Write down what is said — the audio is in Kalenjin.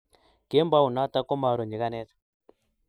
kembounoto komaru nyikanet